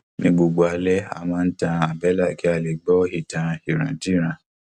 ní gbogbo alẹ a máa n tan àbẹlà kí a lè gbọ ìtàn ìrandíran